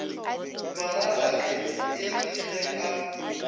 malalatle e le ge a